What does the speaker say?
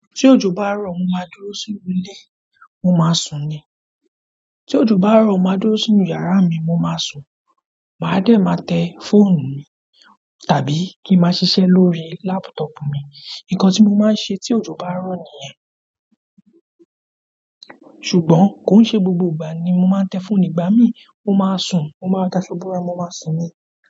Tí òjò bá rọ̀ mo máa dúró sínú ilé mo máa sùn ni. Tí òjò bá rọ̀ mo máa dúró sínú yàrá mi mo máa sùn, màá dẹ̀ máa tẹ fóònù mi tàbí kí máa ṣise lórí lápútọ̀pù mi. Nǹkan tí mo máa ń ṣe tí òjò bá ń rọ̀ nìyẹn. Ṣùgbọ́n kò ń ṣe gbogbo ìgbà ni mo máa ń tẹ fónù ìgbà mí mo máa sùn, mo máa daso borá, mo máa sùn ni.